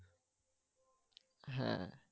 হ্যা।